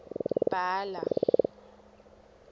bhala